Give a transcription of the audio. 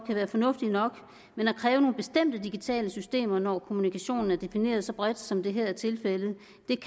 være fornuftig nok men at kræve nogle bestemte digitale systemer når kommunikation er defineret så bredt som det her er tilfældet